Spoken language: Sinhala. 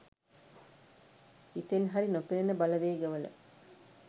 හිතෙන් හරි නොපෙනන බලවේග වල